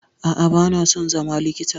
A'a, ba na son zama likita.